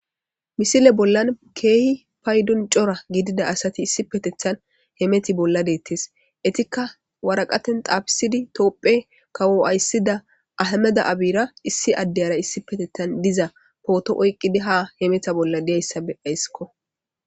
Misile bollan keehi payddon cora gidida asati issipetetan heemeta bolla de'ettes eettikka waraqatan xaafisidi tophphiya kawo aysida Ahimmede Abiyara issi addara issippetettan diza potto oyqiddi ha heemeta bolla de'iyayssa be'ayssikko